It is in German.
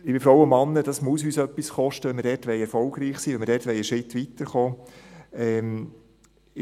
Liebe Frauen und Männer, das muss uns etwas kosten, wenn wir dort erfolgreich sein wollen, wenn wir dort einen Schritt weiterkommen wollen.